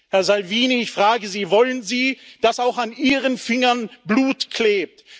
Herr Salvini, ich frage Sie Wollen Sie, dass auch an Ihren Fingern Blut klebt?